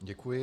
Děkuji.